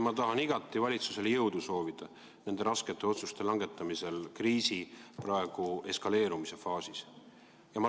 Ma tahan igati valitsusele jõudu soovida nende raskete otsuste langetamisel praeguses kriisi eskaleerumise faasis.